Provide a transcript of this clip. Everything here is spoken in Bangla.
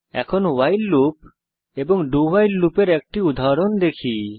এখন ভাইল লুপ এবং doভাইল লুপ এর একটি উদাহরণ দেখি